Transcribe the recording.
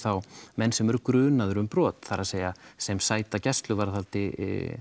menn sem eru grunaðir um brot það er að sem sæta gæsluvarðhaldi